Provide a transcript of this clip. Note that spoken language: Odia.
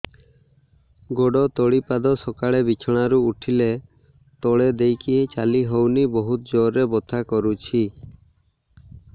ଗୋଡ ତଳି ପାଦ ସକାଳେ ବିଛଣା ରୁ ଉଠିଲେ ତଳେ ଦେଇକି ଚାଲିହଉନି ବହୁତ ଜୋର ରେ ବଥା କରୁଛି